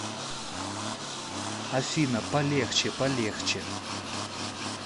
афина полегче полегче